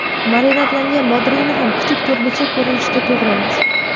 Marinadlangan bodringni ham kichik to‘rtburchak ko‘rinishida to‘g‘raymiz.